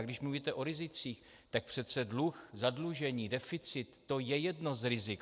A když mluvíte o rizicích, tak přece dluh, zadlužení, deficit, to je jedno z rizik.